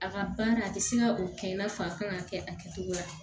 A ka baara a tɛ se ka o kɛ i n'a fɔ a kan ka kɛ a kɛcogo la